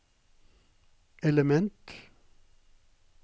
element